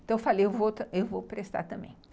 Então eu falei, eu vou vou prestar também.